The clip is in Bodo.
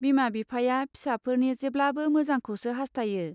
बिमा बिफाया फिसाफोरनि जेब्लाबो मोजां खौसो हास्थायो.